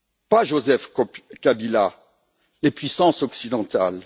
Pas Joseph Kabila, les puissances occidentales.